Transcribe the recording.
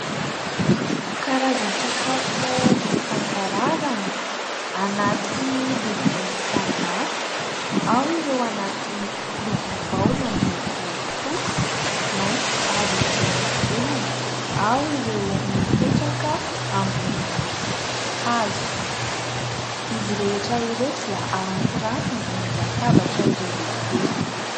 Karazan-tsakafo isan-karazany anaty lovia samihafa, ao ireo anaty lovia baolina miloko fotsy, mainty ary volondavenona, ao ireo mipetraka ambony hazo, izy rehetra ireo dia arantiranty ambony latabatra iray lehibe.